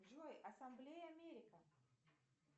джой ассамблея америка